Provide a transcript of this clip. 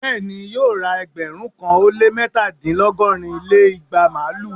Bẹ́ẹ̀ni, yóò ra ẹgbẹ̀rún kan ó lé mẹ́ta dín lọgọ́rin lé igba màlúù!